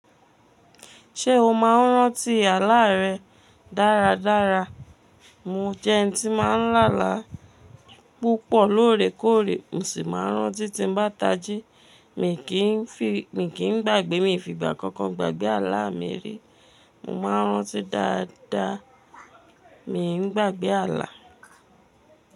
Ṣé o máa ń rántí àlá rẹ dáradára? Mo jẹ́ ẹni tí máa ń lálá púpọ̀ lóòrèkóòrè, mò sì máa ń rántí tí mo bá tají. Mi kì í gbàgbé, mi fi gbà kankan gbàgbé àlá mi rí. Mo máa ń rántí dáadáa, mi ò ń gbàgbé àlá.